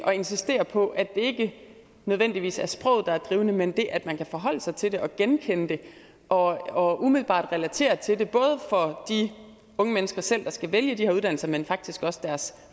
at insistere på at det ikke nødvendigvis er sproget der er drivende men det at man kan forholde sig til det og genkende det og og umiddelbart relatere noget til det både for de unge mennesker selv der skal vælge de her uddannelser men faktisk også deres